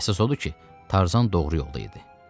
Əsas odur ki, Tarzan doğru yolda idi.